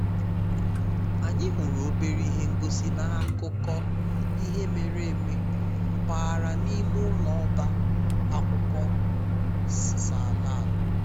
anyị hụrụ obere ihe ngosi na akụkọ ihe mere eme mpaghara n'ime ụlọ ọba akwụkwọ’s ala ala